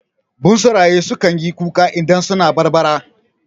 Bunsuraye su kanyi kuka idan suna barbara